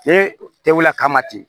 E tɛ wuli a kama ten